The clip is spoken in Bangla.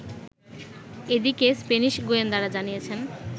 এদিকে, স্প্যানিশ গোয়েন্দারা জানিয়েছেন